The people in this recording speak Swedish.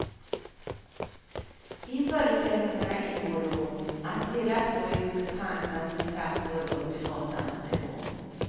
I förutsättningarna ingår då att hela torget ska kantas med trappor upp till gatans nivå.